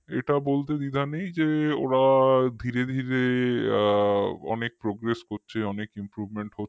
এটা বলতে দ্বিধা নেই যে ওরা ধীরে আ অনেক progress করছে অনেক improvement হচ্ছে হম হম মানে